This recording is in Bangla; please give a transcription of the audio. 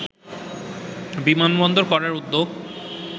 বিমানবন্দর করার উদ্যোগ